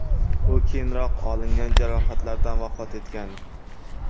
U keyinroq olingan jarohatlardan vafot etgan.